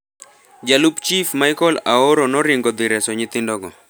Jalup chief Michael Aoro noringo dhi reso nyithindo go.